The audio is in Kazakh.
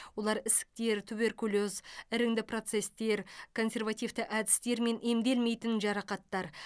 олар ісіктер туберкулез іріңді процестер консервативті әдістермен емделмейтін жарақаттар